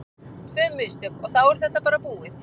Tvö mistök og þá er þetta bara búið.